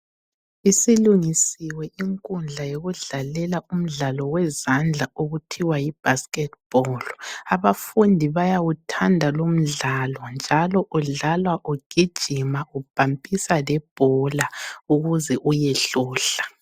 Isilungisiwe inkundla yokudlalela umdlalo wezandla okuthiwa yiBasket Ball. Abafundi bayawuthanda lomdlalo njalo udlalwa ugijima ubhampisa lebhola ukuze uyehlohla.